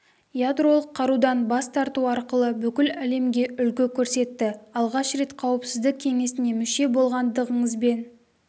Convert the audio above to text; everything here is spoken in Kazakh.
ядролық қарудан бас тарту арқылы бүкіл әлемге үлгі көрсетті алғаш рет қауіпсіздік кеңесіне мүше болғандырыңызбен